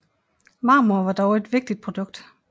Marmor var dog et vigtigt produkt